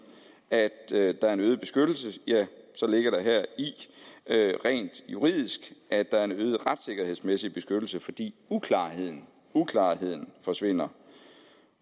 at der er en øget beskyttelse ja så ligger der heri rent juridisk at der er en øget retssikkerhedsmæssig beskyttelse fordi uklarheden uklarheden forsvinder